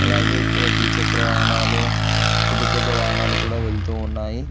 అలాగే ఇక్కడ ద్విచక్ర వాహనాలు పెద్ద పెద్ద వాహనాలు కూడా వెళ్తూ ఉన్నాయి.